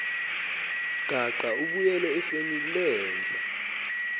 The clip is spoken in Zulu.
gaqa ubuyele efenilenja